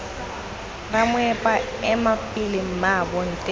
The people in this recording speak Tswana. ramoepa ema pele mmaabo nte